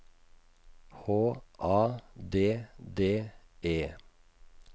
H A D D E